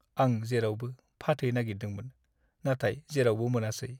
आं जेरावबो फाथै नागिरदोंमोन नाथाय जेरावबो मोनासै।